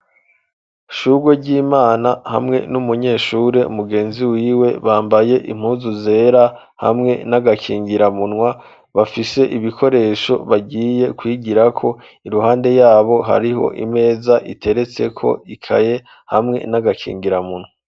Shugweryimana hamwe n'umunyeshure mugenzi wiwe bambaye impuzu zera hamwe n'agakingiramunwa, bafise ibikoresho bagiye kwigirako iruhande yabo hariho imeza iteretseko ikaye hamwe n'agakingiramunwa.